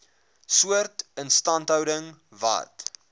soort instandhouding wat